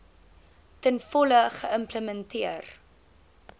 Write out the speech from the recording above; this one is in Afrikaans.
ten volle geïmplementeer